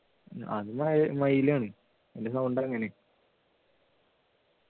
അത് മയിൽ ആണ് അതിൻ്റെ sound അങ്ങനെയാ